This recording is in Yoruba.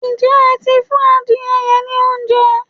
Ǹjẹ́ ẹ ti fún adire yẹn ní oúnjẹ?